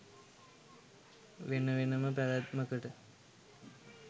වෙන වෙන ම පැවැත්මකට